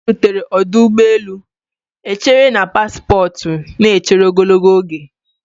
Mgbe anyị rutere ọdụ ụgbọ elu, echere na paspọtụ na-echere ogologo oge.